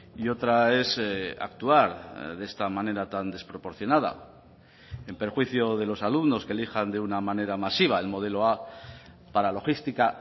y otra es actuar de esta manera tan desproporcionada en perjuicio de los alumnos que elijan de una manera masiva el modelo a para logística